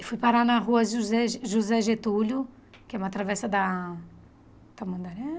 E fui parar na rua José José Getúlio, que é uma travessa da... Tamandaré?